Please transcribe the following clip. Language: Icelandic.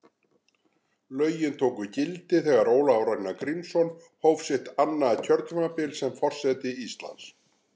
Lögin tóku gildi þegar Ólafur Ragnar Grímsson hóf sitt annað kjörtímabil sem forseti Íslands.